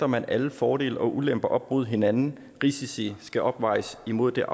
man alle fordele og ulemper op mod hinanden risici skal opvejes mod det